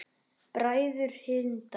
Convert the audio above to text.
Bræður Hindar